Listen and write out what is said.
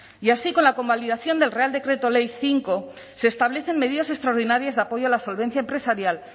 y así con la convalidación del real decreto ley cinco se establecen medidas extraordinarias de apoyo a la solvencia empresarial